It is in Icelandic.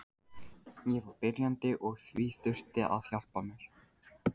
Ég var byrjandi og því þurfti að hjálpa mér.